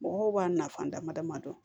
Mɔgɔw b'a nafa dama dama dɔn